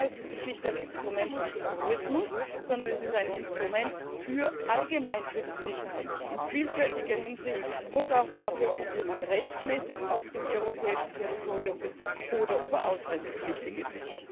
Das heißt, es ist nicht ein Instrument des Terrorismus, sondern es ist ein Instrument allgemein für die Sicherheit, in vielfältiger Hinsicht, und auch dafür, ob jemand rechtmäßig auf dem europäischen Territorium ist oder ob er ausreisepflichtig ist.